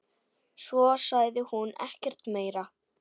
Svo sagði hún ekkert meira.